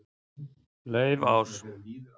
Laufás